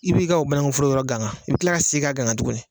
I b'i ka o banakuforo yɔrɔ gangan, i bi kila ka segin ka gangan tuguni.